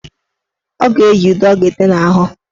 Ọ ga-eji ude ọ ga-ete n' ahụ.